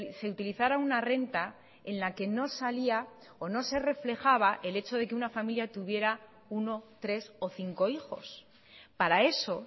se utilizara una renta en la que no salía o no se reflejaba el hecho de que una familia tuviera uno tres o cinco hijos para eso